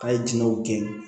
K'a ye jinɛw gɛn